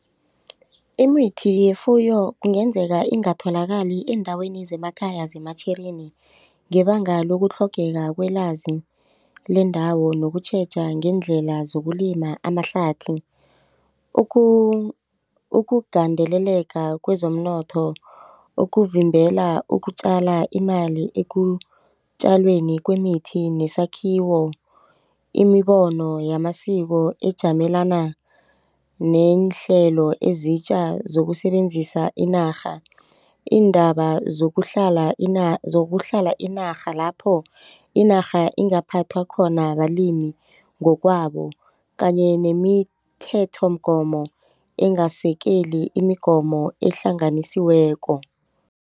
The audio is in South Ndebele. Imithi yefuyo kungenzeka ingatholakali eendaweni zemakhaya zeMatjhirini ngebanga lokutlhogeka kwelwazi lendawo nokutjheja ngeendlela zokulima amahlathi ukugandeleleka kwezomnotho ukuvimbela ukutjala imali ekutjalweni kwemithi nesakhiwo imibono yamasiko ejamelana neenhlelo ezitja zokusebenzisa inarha iindaba zokuhlala inarha lapho inarha ingaphathwa khona balimi ngokwabo kanye nemithethomgomo engasekeli imigomo ehlanganisiweko.